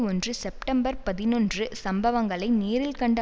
ஒன்று செப்டம்பர் பதினொன்று சம்பவங்களை நேரில் கண்ட